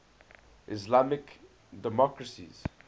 islamic democracies